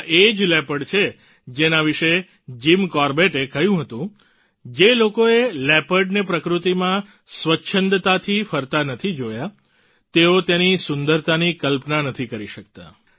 આ એ જ લેપર્ડ છે જેના વિશે જીમ કોરબેટે કહ્યું હતું જે લોકોએ લેપર્ડને પ્રકૃતિમાં સ્વચ્છંદતાથી ફરતા નથી જોયા તેઓ તેની સુંદરતાની કલ્પના નથી કરી શકતા